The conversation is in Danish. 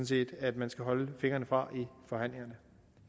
set at man skal holde fingrene fra i forhandlingerne